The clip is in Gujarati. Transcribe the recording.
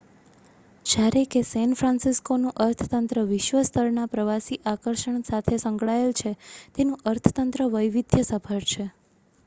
જ્યારે કે સેન ફ્રાન્સિસ્કોનું અર્થતંત્ર વિશ્વ-સ્તર ના પ્રવાસી આકર્ષણ સાથે સંકળાયેલ છે તેનું અર્થતંત્ર વૈવિધ્ય સભર છે